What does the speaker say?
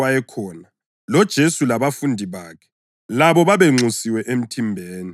loJesu labafundi bakhe labo babenxusiwe emthimbeni.